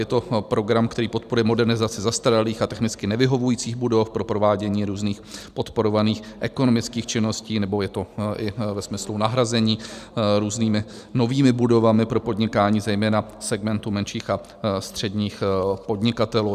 Je to program, který podporuje modernizaci zastaralých a technicky nevyhovujících budov pro provádění různých podporovaných ekonomických činností, nebo je to i ve smyslu nahrazení různými novými budovami pro podnikání, zejména segmentu menších a středních podnikatelů.